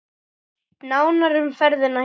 Nánar um ferðina hér.